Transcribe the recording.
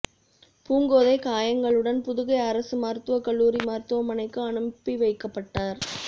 பூங்கோதை காயங்களுடன் புதுகை அரசு மருத்துவக் கல்லூரி மருத்துவமனைக்கு அனுப்பிவைக்கப்பட்டாா்